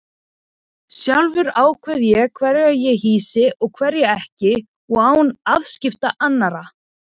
Sjálfur ákveð ég hverja ég hýsi og hverja ekki og án afskipta annarra.